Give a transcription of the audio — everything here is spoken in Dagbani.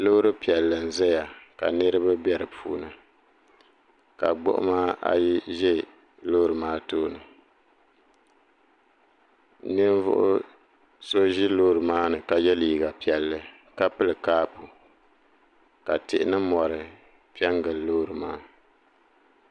loori piɛlli n ʒɛya ka niraba bɛ di puuni ka gbuɣuma ayi ʒɛ loori maa tooni ninvuɣu so ʒi loori maa ni ka yɛ liiga piɛlli ka pili kaapu ka tihi ni mori piɛ n gili loori maa